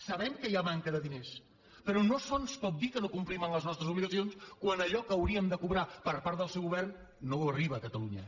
sabem que hi ha manca de diners però no es pot dir que no complim amb les nostres obligacions quan allò que hauríem de cobrar per part del seu govern no arriba a catalunya